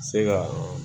Se ka